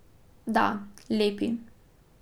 Da, lepi.